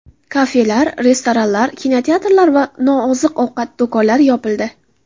Kafelar, restoranlar, kinoteatrlar va nooziq-ovqat do‘konlari yopildi .